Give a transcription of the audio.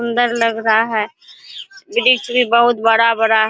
सुन्दर लग रहा है वृक्ष भी बहुत बड़ा-बड़ा--